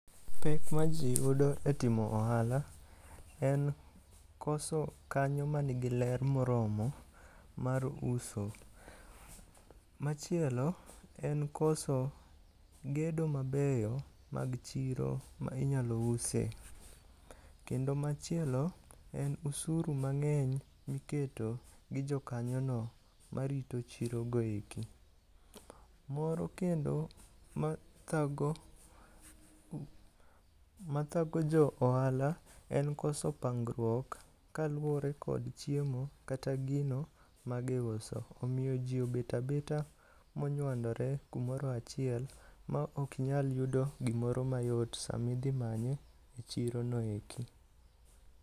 Pek maji yudo etimo ohala, en koso kanyo manigi ler moromo mar uso. Ma chielo en koso gedo mabeyo mag chiro ma inyalo use. Kendo machielo, en osuru mang'eny miketo gi jokanyono marito chirogo eki. Moro kendo mathago jo ohala en koso pangruok kaluwore kod chiemo kata gino magiuso. Omiyo ji obet abeta monyuandore kamoro achiel ma ok inyal yudo gimoro mayot sama idhi manye.